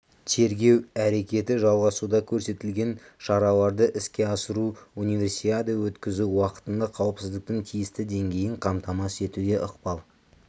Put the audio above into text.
тергеу әрекеті жалғасуда көрсетілген шараларды іске асыру универсиада өткізу уақытында қауіпсіздіктің тиісті деңгейін қамтамасыз етуге ықпал